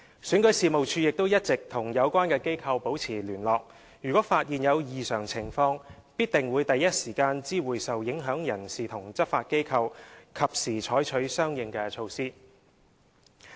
選舉事務處亦一直與有關機構保持聯絡，如發現有異常情況，必定會第一時間知會受影響人士和執法機構，及時採取相應措施。